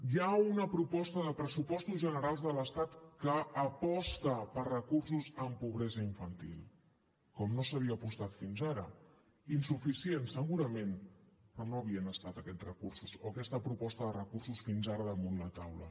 hi ha una proposta de pressupostos generals de l’estat que aposta per recursos en pobresa infantil com no s’havia apostat fins ara insuficient segurament però no havien estat aquests recursos o aquesta proposta de recursos fins ara damunt la taula